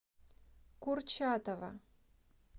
курчатова